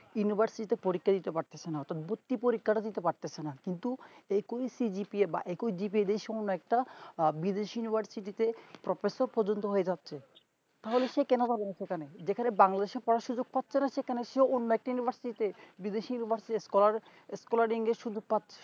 যেখানে Bangladesh এ পড়ার সুযোগ পাচ্ছে না সেখানে সে অন্য একটা university বিদেশী scholar তে scholar